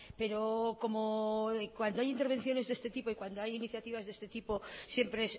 pero como cuando hay intervenciones de este tipo y cuando hay iniciativas de este tipo siempre